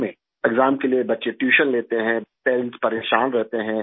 exam کے لیے بچے ٹیوشن لیتے ہیں، والدین پریشان رہتے ہیں